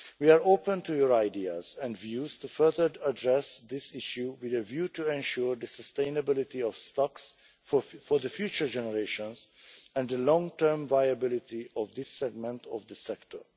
We are open to your ideas and views to further address this issue with a view to ensuring the sustainability of stocks for future generations and the long-term viability of this segment of the sector.